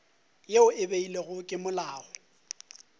yeo e beilwego ke molao